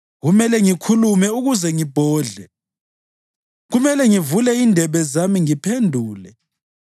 Kumele ngikhulume ukuze ngibhodle; kumele ngivule indebe zami ngiphendule.